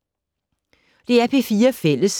DR P4 Fælles